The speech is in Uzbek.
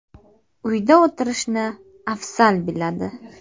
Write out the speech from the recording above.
Uyda o‘tirishni afzal biladi.